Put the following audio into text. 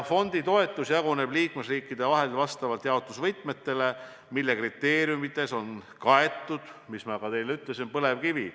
Fondi toetus jaguneb liikmesriikide vahel vastavalt jaotusvõtmetele, mille kriteeriumides on kaetud, nagu ma teile ütlesin, ka põlevkivi.